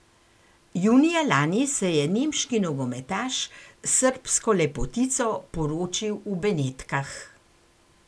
Junija lani se je nemški nogometaš s srbsko lepotico poročil v Benetkah.